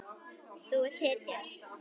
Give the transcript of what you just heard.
Þú ert hetja.